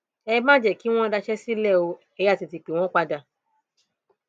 ẹ má jẹ kí wọn daṣẹ sílẹ o ẹ yáa tètè pè wọn padà